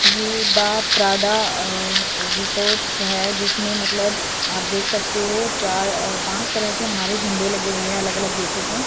ये the Prada resorts है जिसमें मतलब आप देख सकते हो चार पांच तरह के हमारे झंडे लगे हुए है अलग अलग देशों के।